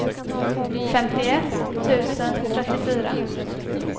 femtioett tusen trettiofyra